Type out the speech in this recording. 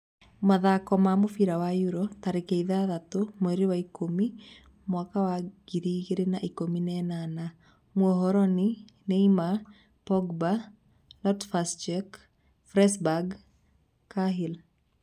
Mathako ma mũbira wa Euro 06.10.2018: Mourinho, Neymar, Pogba, Loftus-Cheek, Fabregas, Cahill